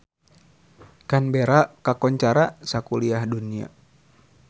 Canberra kakoncara sakuliah dunya